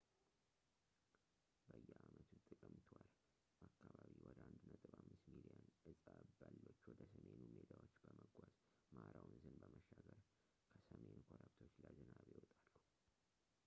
በየአመቱ ጥቅምት ወር አካባቢ ወደ 1.5 ሚሊዮን እፀ በሎች ወደ ሰሜኑ ሜዳዎች በመጓዝ ማራ ወንዝን በመሻገር ከሰሜን ኮረብቶች ለዝናብ ይወጣሉ